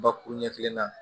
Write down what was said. Bakuru ɲɛfilen na